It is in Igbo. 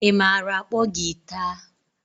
Ị maara akpo giita?